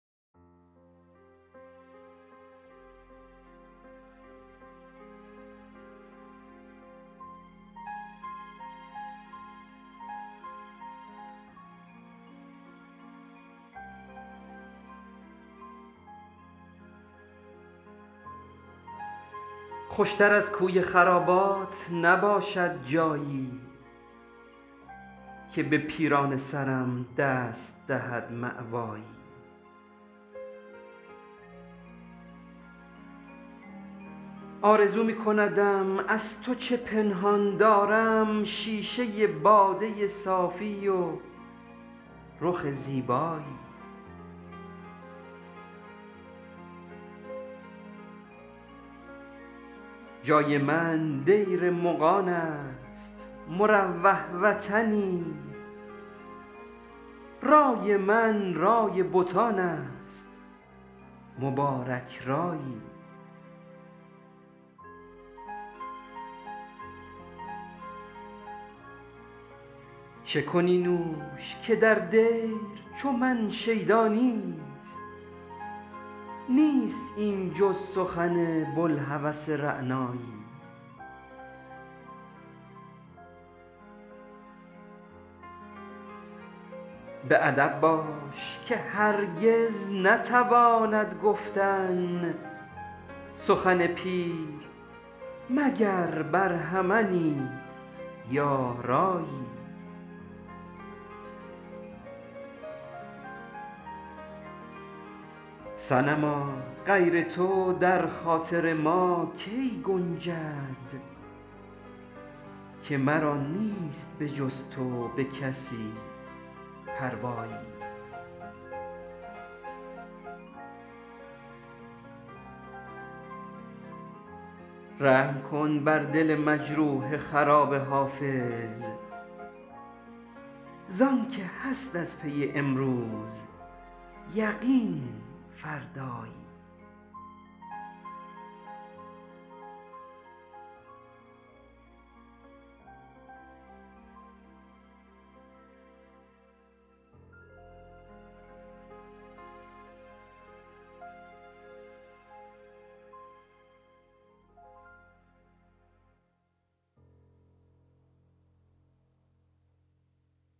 خوشتر از کوی خرابات نباشد جایی که به پیرانه سرم دست دهد ماوایی آرزو می کندم از تو چه پنهان دارم شیشه باده و طلعت خوش زیبایی جای من دیر مغان است مروح وطنی رای من رای بتان است مبارک رایی چه کنی نوش که در دیر چو من شیدا نیست نیست این جز سخن بوالهوس رعنایی به ادب باش که هر کس نتواند گفتن سخن پیر مگر برهمنی یا رایی صنما غیر تو در خاطر ما کی گنجد که مرا نیست به غیر از تو به کس پروایی رحم کن بر دل مجروح خراب حافظ زآن که هست از پی امروز یقین فردایی